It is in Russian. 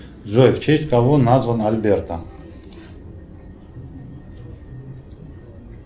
джой в честь кого назван альберто